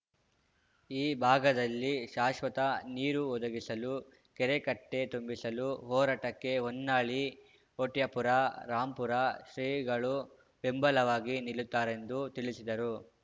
ಈ ಭಾಗದಲ್ಲಿ ಶಾಶ್ವತ ನೀರು ಒದಗಿಸಲು ಕೆರೆಕಟ್ಟೆತುಂಬಿಸಲು ಹೋರಾಟಕ್ಕೆ ಹೊನ್ನಾಳಿ ಹೊಟ್ಯಾಪುರ ರಾಂಪುರ ಶ್ರೀಗಳು ಬೆಂಬಲವಾಗಿ ನಿಲ್ಲುತ್ತಾರೆಂದು ತಿಳಿಸಿದರು